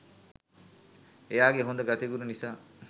එයාගේ හොඳ ගතිගුණ නිසා